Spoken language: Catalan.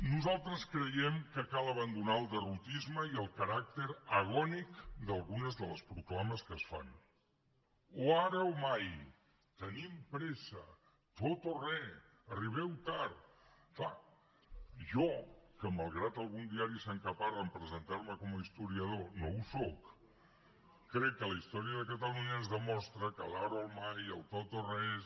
nosaltres creiem que cal abandonar el derrotisme i el caràcter agònic d’algunes de les proclames que es fan o ara o mai tenim pressa tot o res arribeu tard clar jo que malgrat que algun diari s’encaparra a presentarme com a historiador no ho sóc crec que la història de catalunya ens demostra que l’ ara o mai el tot o res